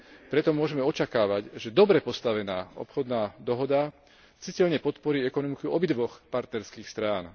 Preto môžeme očakávať, že dobre postavená obchodná dohoda citeľne podporí ekonomiku obidvoch partnerských strán.